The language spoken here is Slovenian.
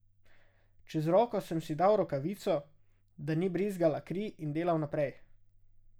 Čez roko sem si dal rokavico, da ni brizgala kri in delal naprej.